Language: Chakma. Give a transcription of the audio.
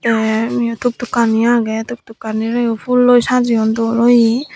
teh eyot tuktuk kani agey tuktukkani reh oh phulloi sajeun dol oyi.